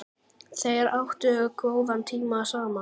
Þeir áttu góðan tíma saman.